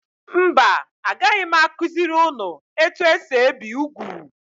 Mba agaghị m akuziri ụnụ etu esị ebi úgwú.